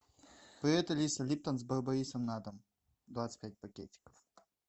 привет алиса липтон с барбарисом на дом двадцать пять пакетиков